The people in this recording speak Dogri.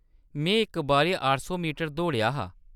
मैं इक बारी अट्ठ सौ मीटर दौड़ेआ हा।